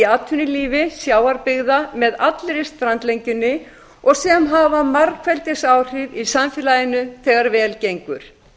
atvinnulífi sjávarbyggða með allri strandlengjunni og sem hafa margfeldisáhrif í samfélaginu þegar vel gengur